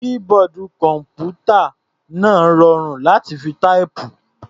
Keyboard kọ̀m̀pútà náà rọrùn láti fi táìpù.